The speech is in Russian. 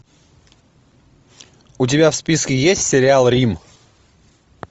у тебя в списке есть сериал рим